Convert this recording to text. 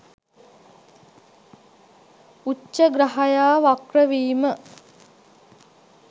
උච්ඡ ග්‍රහයා වක්‍රවීම